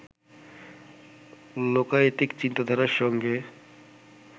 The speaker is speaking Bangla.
লোকায়তিক চিন্তাধারার সঙ্গে